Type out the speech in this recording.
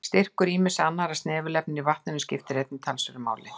Styrkur ýmissa annarra snefilefna í vatninu skiptir einnig talsverðu máli.